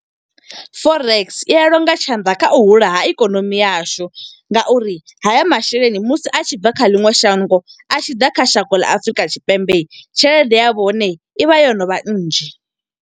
Forex i ya longa tshanḓa kha u hula ha ikonomi yashu. Nga uri haya masheleni musi a tshi bva kha ḽiṅwe shango, a tshi ḓa kha shango ḽa Afurika Tshipembe. Tshelede ya hone i vha yo no vha nnzhi.